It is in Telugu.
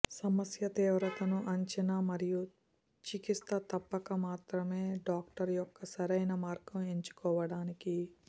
సమస్య తీవ్రతను అంచనా మరియు చికిత్స తప్పక మాత్రమే డాక్టర్ యొక్క సరియైన మార్గం ఎంచుకోవడానికి